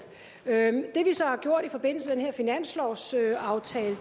med den finanslovsaftale